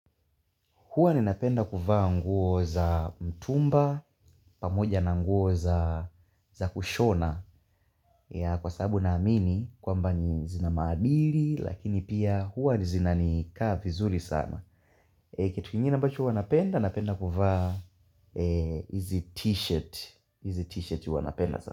Huwa ni napenda kuvaa nguo za mtumba, pamoja na nguo za kushona kwa sababu naamini kwamba ni zina maadili lakini pia huwa ni zina ni kaa vizuri sana. Kitu kingine bacho wanapenda, napenda kuvaa hizi t-shirt.